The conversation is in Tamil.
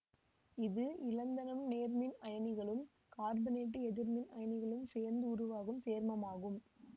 இது இலந்தனம் நேர்மின் அயனிகளும் கார்பனேட்டு எதிர்மின் அயனிகளும் சேர்ந்து உருவாகும் சேர்மமாகும்